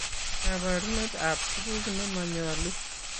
Kaboruneet ab tuguk nemanyoluu